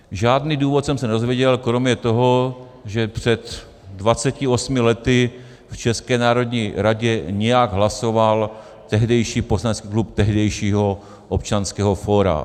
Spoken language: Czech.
Žádný důvod jsem se nedozvěděl kromě toho, že před 28 lety v České národní radě nějak hlasovat tehdejší poslanecký klub tehdejšího Občanského fóra.